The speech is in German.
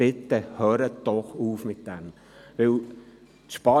Bitte hören Sie doch damit auf.